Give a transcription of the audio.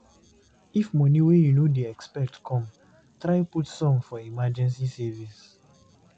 If money wey you no dey expect come, try put some for emergency savings